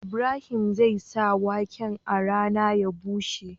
Ibrahim zai sa waken a rana ya bushe